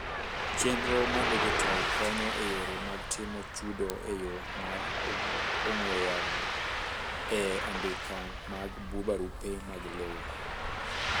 chenro mar dijital konyo eyore mag timo chudo eyoo mar ong'we yamo e andika mag barupe mag lowo.